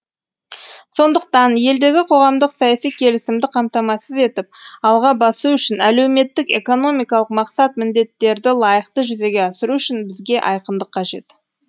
сондықтан елдегі қоғамдық саяси келісімді қамтамасыз етіп алға басу үшін әлеуметтік экономикалық мақсат міндеттерді лайықты жүзеге асыру үшін бізге айқындық қажет